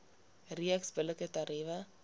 reeks billike tariewe